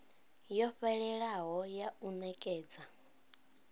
yo fhelelaho ya u nekedza